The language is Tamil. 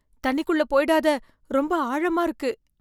தண்ணிக்குள்ள போயிடாத. ரொம்ப ஆழமா இருக்கு!